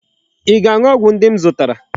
Ị ga-aṅụ ọgwụ ndị m zụtara.